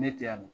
Ne te yan